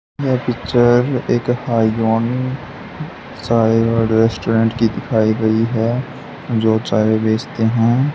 यह पिक्चर एक हाई चाय और रेस्टोरेंट की दिखाई गई है जो चाय बेचते हैं।